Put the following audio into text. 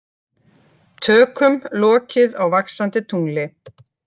Tökum lokið á Vaxandi tungli